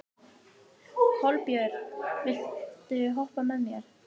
Kolbjörn, viltu hoppa með mér?